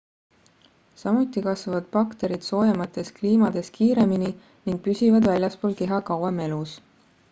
samuti kasvavad bakterid soojemates kliimades kiiremini ning püsivad väljaspool keha kauem elus